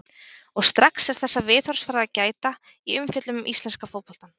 Og strax er þessa viðhorfs farið að gæta í umfjöllun um íslenska fótboltann.